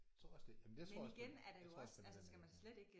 Tror også det jamen jeg tror også jeg tror også det ville være nemmere